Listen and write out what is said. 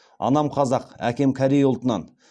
анам қазақ әкем корей ұлтынан